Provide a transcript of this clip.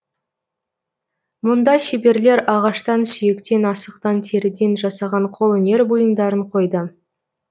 мұнда шеберлер ағаштан сүйектен асықтан теріден жасаған қолөнер бұйымдарын қойды